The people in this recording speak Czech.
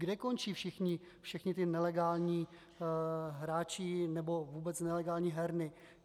Kde končí všichni ti nelegální hráči nebo vůbec nelegální herny?